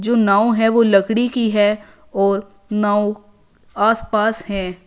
जो नाव है वो लकड़ी की है और नाव आसपास है।